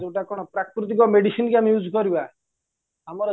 ଯୋଉଟା କ'ଣ ପ୍ରକୁତିକ medicineକି ଆମେ use କରିବା ଆମର